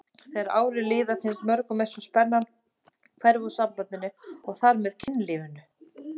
Þegar árin líða finnst mörgum eins og spennan hverfi úr sambandinu og þar með kynlífinu.